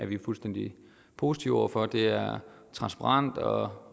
vi fuldstændig positive over for det det er transparent og